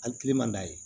An kilen man d'a ye